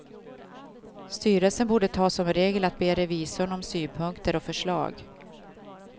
Styrelsen borde ta som regel att be revisorn om synpunkter och förslag.